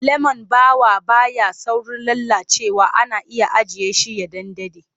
Lemon ɓawo ba ya saurin lalacewa ana iya ajiye shi ya ɗan daɗe.